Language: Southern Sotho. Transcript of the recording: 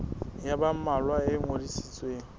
ya ba mmalwa e ngodisitsweng